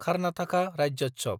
Karnataka Rajyotsav